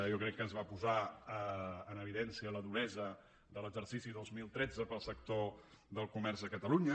jo crec que es va posar en evidència la duresa de l’exercici dos mil tretze per al sector del comerç a catalunya